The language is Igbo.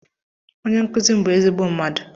Onye nkuzim bu ezigbo mmadu.